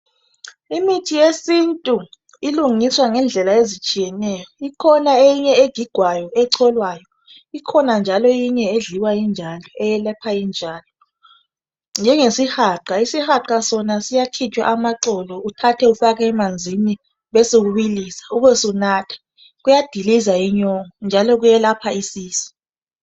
Imithi yesintu ilungiswa ngendlela ezitshiyeneyo. Ikhona eminye egigwayo, echolwayo. Ikhona njalo eyinye edliwa injalo eyelapha injalo njengesihaqa. Isihaqa Sona siyakhitshwa amaxolo uthathe ufake emanzini besubilisa ubesunatha. Kuyadiliza inyongo njalo kuyelapha isisu.